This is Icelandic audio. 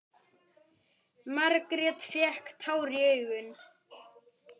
Margrét fékk tár í augun.